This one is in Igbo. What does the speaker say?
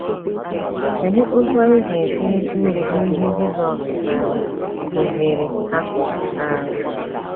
Kedụ otú anyị ga-esi rite uru n’ihe Jizọs um kụziiri ha?? um